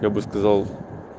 я бы сказал